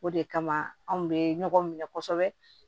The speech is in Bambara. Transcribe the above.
O de kama anw be ɲɔgɔn minɛ kosɛbɛ